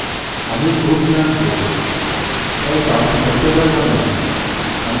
আমি খুব ক্লান্ত তাই count করতে পারবো না